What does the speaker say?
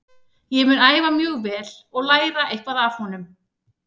Ég mun æfa mjög vel og læra eitthvað af honum.